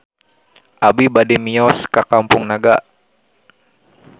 Abi bade mios ka Kampung Naga